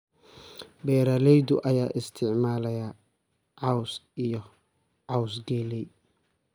Beeralayda ayaa isticmaalaya caws iyo caws galley.